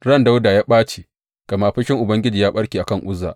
Ran Dawuda ya ɓace gama fushin Ubangiji ya ɓarke a kan Uzza.